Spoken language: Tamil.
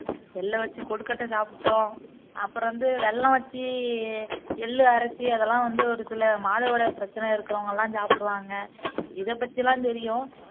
எள்ள வச்சு கொழுக்கட்டை சாப்பிடோம் அப்பறம் வந்து வெல்லம் வச்சு எள்ளு அரைச்சு அதெல்லாம் வந்து ஒருசில மாதவிடாய் பிரச்சனை இருக்குறவங்கலாம் சாப்பிடுவாங்க இதபத்தியெல்லாம் தெரியும்